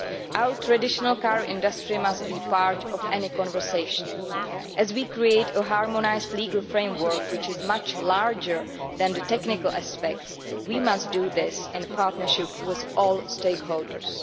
Our traditional car industry must be part of any dialogue as we create a harmonised legal framework which is much larger than the technical aspects, and we must do this in partnership with all stakeholders.